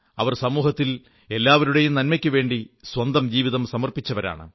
അവർ സമൂഹത്തിൽ എല്ലാവരുടെയും നന്മയ്ക്കുവേണ്ടി സ്വന്തം ജീവിതം സമർപ്പിച്ചവരാണ്